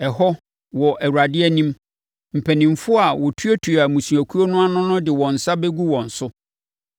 Ɛhɔ, wɔ Awurade anim, mpanimfoɔ a wɔtuatua mmusuakuo no ano no de wɔn nsa bɛgu wɔn so